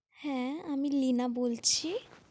হ্যাঁ আমি নীলিমা বলছি।